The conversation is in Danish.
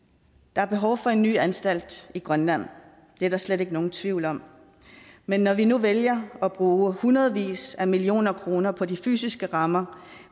der er behov for en ny anstalt i grønland det er der slet ikke nogen tvivl om men når vi nu vælger at bruge hundredvis af millioner kroner på de fysiske rammer